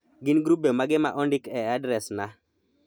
Gin grube mage ma ondik e adresna?